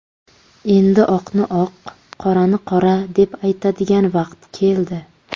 Endi oqni oq, qorani qora deb aytadigan vaqt keldi.